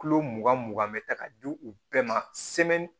Kulo mugan mugan bɛ ta ka di u bɛɛ ma